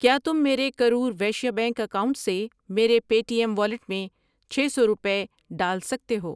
ٔکیا تم میرے Karur Vysya bank account سے میرے پے ٹی ایم والیٹ میں چھ سو روپے ڈال سکتے ہو؟